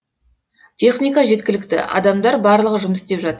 техника жеткілікті адамдар барлығы жұмыс істеп жатыр